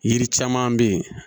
Yiri caman bɛ yen